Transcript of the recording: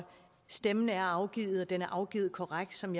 stemmen er afgivet og at den er afgivet korrekt som